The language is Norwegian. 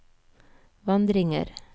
vandringer